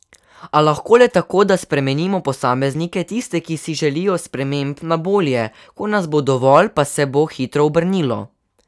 A lahko le tako, da spremenimo posameznike, tiste, ki si želijo sprememb na bolje, ko nas bo dovolj, pa se bo hitro obrnilo.